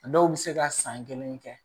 A dɔw bɛ se ka san kelen kɛ